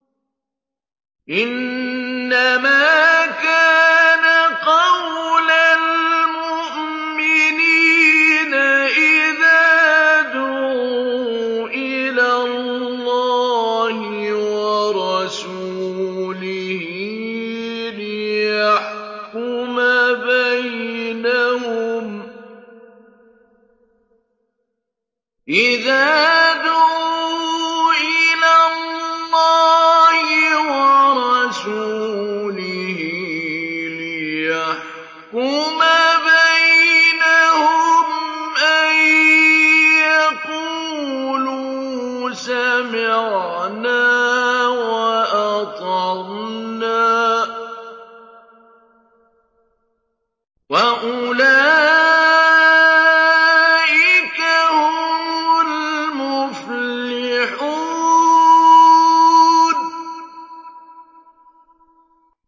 إِنَّمَا كَانَ قَوْلَ الْمُؤْمِنِينَ إِذَا دُعُوا إِلَى اللَّهِ وَرَسُولِهِ لِيَحْكُمَ بَيْنَهُمْ أَن يَقُولُوا سَمِعْنَا وَأَطَعْنَا ۚ وَأُولَٰئِكَ هُمُ الْمُفْلِحُونَ